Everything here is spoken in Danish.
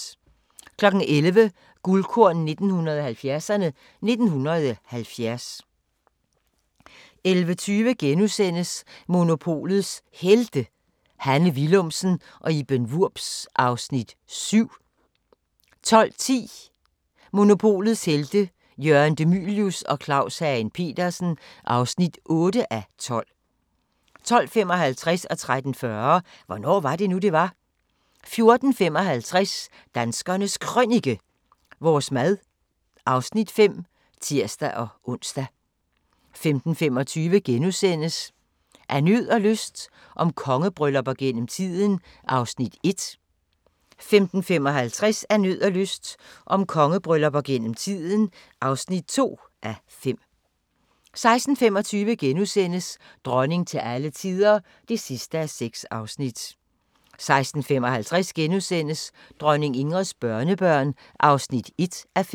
11:00: Guldkorn 1970'erne: 1970 11:20: Monopolets Helte – Hanne Willumsen og Iben Wurbs (7:12)* 12:10: Monopolets Helte – Jørgen De Mylius og Claus Hagen Petersen (8:12) 12:55: Hvornår var det nu, det var? 13:40: Hvornår var det nu, det var? 14:55: Danskernes Krønike - vores mad (Afs. 5)(tir-ons) 15:25: Af nød og lyst – om kongebryllupper gennem tiden (1:5)* 15:55: Af nød og lyst – om kongebryllupper gennem tiden (2:5) 16:25: Dronning til alle tider (6:6)* 16:55: Dronning Ingrids børnebørn (1:5)*